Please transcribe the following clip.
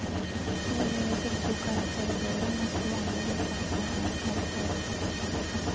To elever fikk to karakterer bedre, mens to andre ble satt ned en karakter.